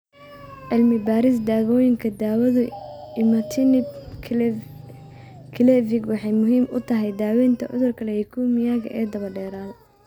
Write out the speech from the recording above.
Cilmi-baarista Dawooyinka Daawadu imatinib (Gleevec) waxay muhiim u tahay daawaynta cudurka leukemia-da ee daba-dheeraada.